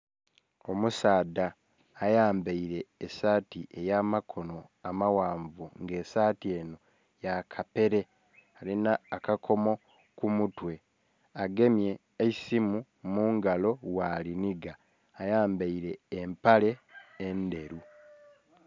Omusaadha ayambaire esaati eya makono amaghanvu nga esaati enho ya kapere alinha akakomo ku mutwe, agemye eisimu mu ngalo bwa linhiga. Ayambaire empale endheru.